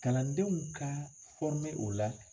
Kalandenw ka o la.